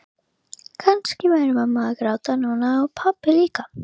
Kannski væri mamma að gráta núna og pabbi líka.